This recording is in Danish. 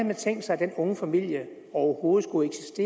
man tænkt sig at denne unge familie overhovedet skulle